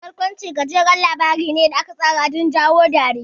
Barkwanci gajeren labari ne da aka tsara don jawo dariya.